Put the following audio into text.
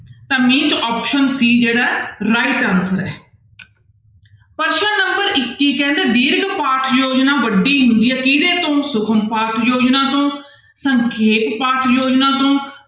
ਤਾਂ option c ਜਿਹੜਾ right answer ਹੈ ਪ੍ਰਸ਼ਨ number ਇੱਕੀ ਕਹਿੰਦੇ ਦੀਰਘ ਵੱਡੀ ਹੁੰਦੀ ਹੈ ਕਿਹਦੇ ਤੋਂ ਸੁਖਮ ਤੋਂ ਸੰਖੇਪ ਤੋਂ